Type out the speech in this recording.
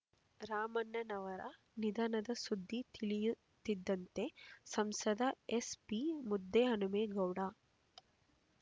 ರಾಮಣ್ಣನವರ ನಿಧನದ ಸುದ್ದಿ ತಿಳಿಯುತ್ತಿದ್ದಂತೆ ಸಂಸದ ಎಸ್ಪಿ ಮುದ್ದಹನುಮೇಗೌಡ